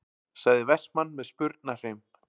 sagði Vestmann með spurnarhreim.